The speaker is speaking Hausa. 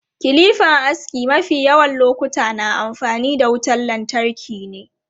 Kilipan aski mafi yawan lokuta na amfani da wutan lantarki ne.